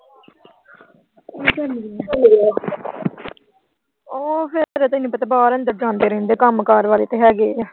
ਉਹ ਤੈਨੂੰ ਪਤਾ ਫਿਰ ਬਾਹਰ ਅੰਦਰ ਜਾਂਦੇ ਆਉਂਦੇ ਰਹਿੰਦੇ। ਕੰਮਕਾਰ ਵਾਲੇ ਤਾਂ ਹੈਗੇ ਆ।